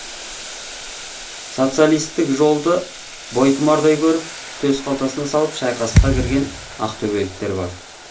социалистік жолды бойтұмардай көріп төс қалтасына салып шайқасқа кірген ақтөбеліктер бар